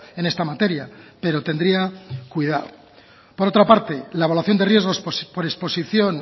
en esta materia pero tendría cuidado por otra parte la evaluación de riesgos por exposición